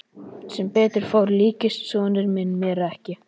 Sem betur fór líktist sonur minn mér ekki.